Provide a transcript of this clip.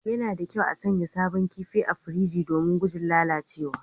Yana da kyau a sanya sabon kifi a firiji don guje wa lalacewa